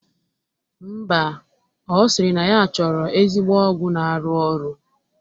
Mba, ọ sịrị na ya chọrọ ezigbo ọgwụ na-arụ ọrụ